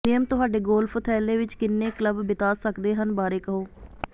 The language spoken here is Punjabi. ਨਿਯਮ ਤੁਹਾਡੇ ਗੋਲਫ ਥੈਲੇ ਵਿਚ ਕਿੰਨੇ ਕਲੱਬ ਬਿਤਾ ਸਕਦੇ ਹਨ ਬਾਰੇ ਕਹੋ